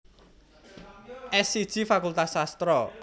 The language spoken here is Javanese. S siji Fakultas Sastra